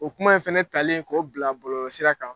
O kuma in fana talen k'o bila bɔlɔlɔsira kan